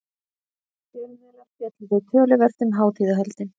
Fjölmiðlar fjölluðu töluvert um hátíðahöldin.